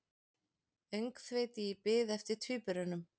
Öngþveiti í bið eftir tvíburunum